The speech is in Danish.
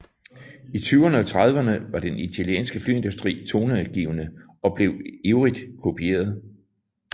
I tyverne og trediverne var den italienske flyindustri toneangivende og blev ivrigt kopieret